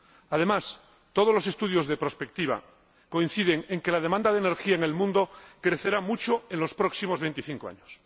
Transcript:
Además, todos los estudios de prospectiva coinciden en que la demanda de energía en el mundo crecerá mucho en los próximos 25 años.